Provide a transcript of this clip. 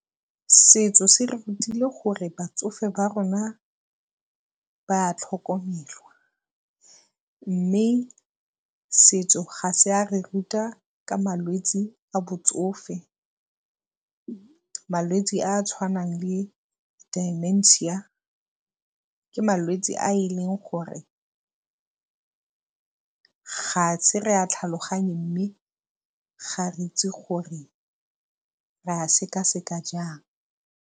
Setso se re rutile gore batsofe ba rona ba a tlhokomelwa mme setso ga se a re ruta ka malwetsi a botsofe, malwetsi a a tshwanang le Dimensia, ke malwetsi a e leng gore ga a se re a tlhaloganye mme ga re itse gore re a seka-seka jang.